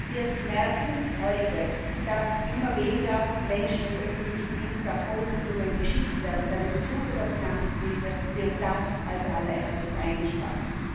Wir merken heute, dass immer weniger Menschen im öffentlichen Dienst auf Fortbildungen geschickt werden, denn im Zuge der Finanzkrise wird das als Allererstes eingespart.